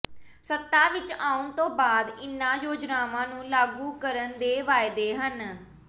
ਸੱਤਾ ਵਿਚ ਆਉਣ ਤੋਂ ਬਾਅਦ ਇਨ੍ਹਾਂ ਯੋਜਨਾਵਾਂ ਨੂੰ ਲਾਗੂ ਕਰਨ ਦੇ ਵਾਅਦੇ ਨੇ